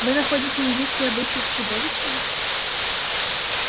вы находите индийские обычаи чудовищным